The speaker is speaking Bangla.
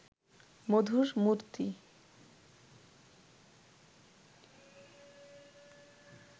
মধুর মূরতি